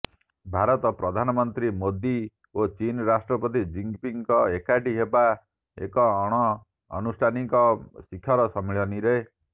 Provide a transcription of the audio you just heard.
ଭାରତ ପ୍ରଧାନମନ୍ତ୍ରୀ ମୋଦି ଓ ଚୀନ୍ ରାଷ୍ଟ୍ରପତି ଜିନ୍ପିଙ୍ଗ ଏକାଠି ହେବେ ଏକ ଅଣଆନୁଷ୍ଠାନିକ ଶିଖର ସମ୍ମଳନୀରେ